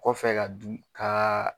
Kɔfɛ ka dun kaaa.